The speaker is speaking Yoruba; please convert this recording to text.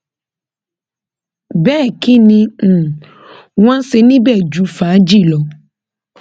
bẹẹ kín ni um wọn ń ṣe níbẹ ju fàájì lọ